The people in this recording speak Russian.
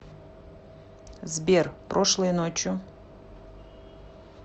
сбер прошлой ночью